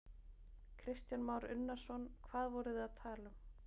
Kristján Már Unnarsson: Hvað voru þið að tala um?